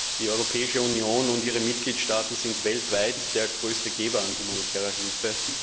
Die Europäische Union und ihre Mitgliedstaaten sind weltweit der größte Geber humanitärer Hilfe.